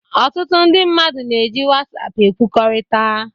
Ọtụtụ ndị mmadụ na-eji WhatsApp ekwukọrịta